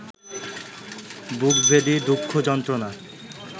বুকভেদি দুঃখ-যন্ত্রণা